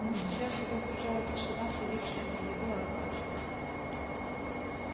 но сейчас его окружала тишина сулившая не еду а опасность